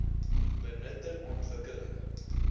benutting ontwik keling